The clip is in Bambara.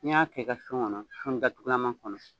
N'i y'a kɛ i ka kɔnɔ datugulama kɔnɔ.